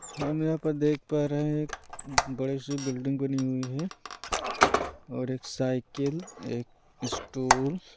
हम यहाँ पर देख पा रहे हैं एक बड़ी सी बिल्डिंग बनी हुई है और एक साइकिल एक स्टूल --